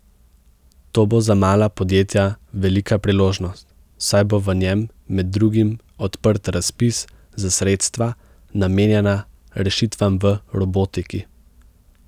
Ta bo za mala podjetja velika priložnost, saj bo v njem med drugim odprt razpis za sredstva, namenjena rešitvam v robotiki.